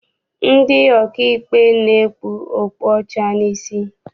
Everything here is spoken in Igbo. Ndị ọkaikpe na-ekpu okpu ọcha n'isi.